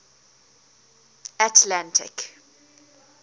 atlantic